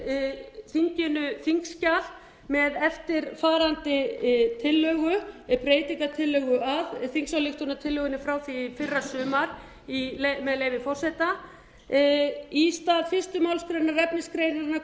enda var það svo að það lá fyrir þinginu þingskjal með eftirfarandi breytingartillögu á þingsályktunartillögunni frá því í fyrrasumar með leyfi forseta í stað fyrstu málsl efnisgreinarinnar